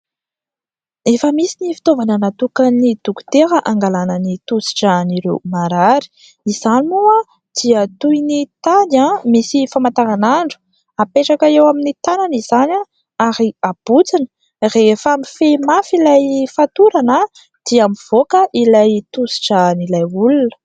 Efa misy ny fitaovana natokan'ny dokotera angalana ny tosidra an'ireo marary, izany moa dia toy ny tady misy famantaranandro. Apetraka eo amin'ny tanana izany ary abotsina. Rehefa mifehy mafy ilay fatorana dia mivoaka ny tosidra an'ilay olona.